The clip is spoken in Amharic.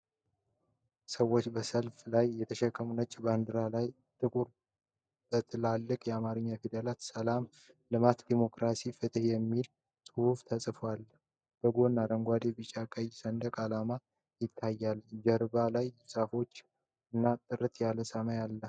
ሰዎች በሰልፍ ላይ የተሸከሙት ነጭ ባንዲራ ላይ ጥቁር በትላልቅ የአማርኛ ፊደላት 'የሰላም ልማት ዴሞክራሲ ፍትሕ' የሚል ጽሑፍ ተጽፏል። ከጎን አረንጓዴ፣ ቢጫና ቀይ ሰንደቅ ዓላማ ይታያል። ጀርባ ላይ ዛፎች እና ጥርት ያለ ሰማይ ይታያሉ።